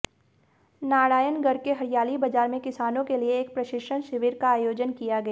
नारायणगढ़ के हरियाली बाजार में किसानों के लिए एक प्रशिक्षण शिविर का आयोजन किया गया